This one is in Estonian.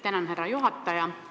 Tänan, härra juhataja!